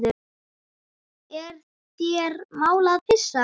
Er þér mál að pissa?